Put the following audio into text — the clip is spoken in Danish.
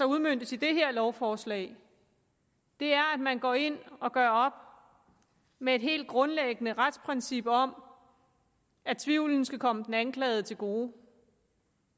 udmøntes i det her lovforslag er at man går ind og gør op med et helt grundlæggende retsprincip om at tvivlen skal komme den anklagede til gode